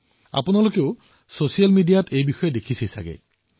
আপোনালোকেও ছচিয়েল মিডিয়াত ইয়াৰ দৃশ্যাৱলী দেখিছে